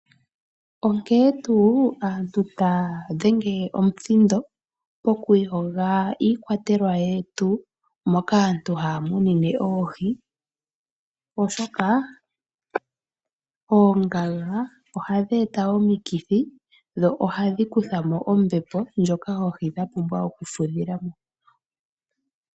Onkene tuu aantu taya dhenge omuthindo pokuyoga iikwatelwa yetu moka aantu haya munine oohi. Oshoka oongaga ohadhi eta omikithi, dho ohadhi kutha mo ombepo ndjoka oohi dhapumbwa okufudhila mo.